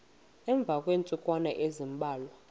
emva kweentsukwana ezimbalwa